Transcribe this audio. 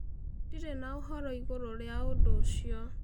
Ndĩrĩ na ũhoro ĩgũrũ rĩa ũdũ ũcĩo.